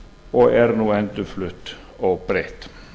og er nú endurflutt óbreytt